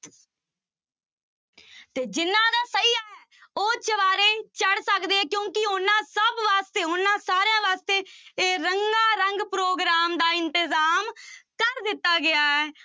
ਤੇ ਜਿਹਨਾਂ ਦਾ ਸਹੀ ਹੈ ਉਹ ਚੁਬਾਰੇ ਚੜ੍ਹ ਸਕਦੇ ਹੈ ਕਿਉਂਕਿ ਉਹਨਾਂ ਸਭ ਵਾਸਤੇ ਉਹਨਾਂ ਸਾਰਿਆਂ ਵਾਸਤੇ ਇਹ ਰੰਗਾ ਰੰਗ program ਦਾ ਇੰਤਜ਼ਾਮ ਕਰ ਦਿੱਤਾ ਗਿਆ ਹੈ।